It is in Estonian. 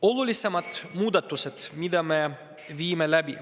Olulisemad muudatused.